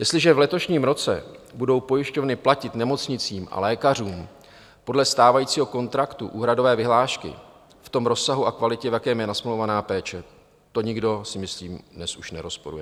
Jestliže v letošním roce budou pojišťovny platit nemocnicím a lékařům podle stávajícího kontraktu úhradové vyhlášky v tom rozsahu a kvalitě, v jaké je nasmlouvaná péče, to nikdo, si myslím, dnes už nerozporuje.